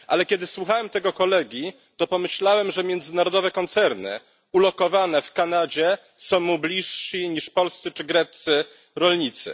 Ale kiedy słuchałem tego kolegi, to pomyślałem, że międzynarodowe koncerny ulokowane w Kanadzie są mu bliższe niż polscy czy greccy rolnicy.